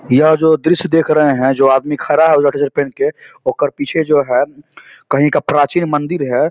यह जो दृश्य देख रहे है जो आदमी खरा है पहनके ओ कर पीछे जो है कहीं का प्राचीन मंदिर है ।